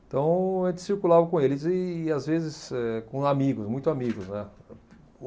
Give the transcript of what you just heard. Então, a gente circulava com eles e, às vezes, eh com amigos, muito amigos, né.